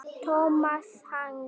Tómasarhaga